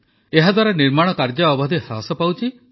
ଏହାଦ୍ୱାରା ନିର୍ମାଣ କାର୍ଯ୍ୟ ଅବଧି ହ୍ରାସ ପାଉଛି